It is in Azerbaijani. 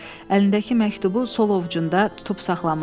Əlindəki məktubu sol ovcunda tutub saxlamışdı.